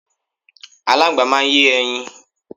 Aláńgbá máa ń yé ẹyin.